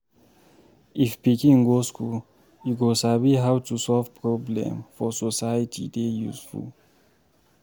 If pikin go school, e go sabi how to solve problem for society dey useful